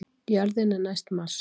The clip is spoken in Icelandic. jörðin er næst mars!